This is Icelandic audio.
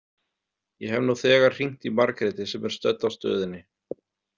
Ég hef nú þegar hringt í Margréti sem er stödd á stöðinni.